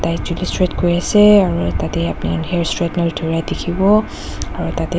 chuli straight kuri asa aru tatey upni khan hair straightener dhura dekhivo aru.